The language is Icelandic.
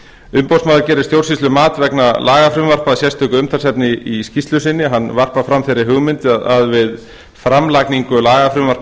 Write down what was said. umboðsmaður gerir stjórnsýslumat vegna lagafrumvarpa að sérstöku umtalsefni í skýrslu sinni hann varpar fram þeirri hugmynd að við framlagningu lagafrumvarpa á